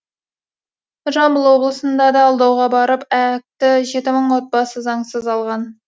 жамбыл облысында да алдауға барып аәк ті жеті мың отбасы заңсыз алған